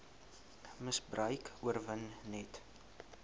misbruik oorwin net